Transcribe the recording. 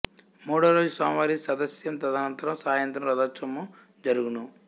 మూడో రోజు స్వామివారి సదస్యం తదనంతరం సాయంత్రం రథోత్సవము జరుగును